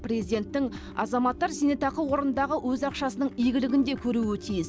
президенттің азаматтар зейнетақы қорындағы өз ақшасының игілігін де көруі тиіс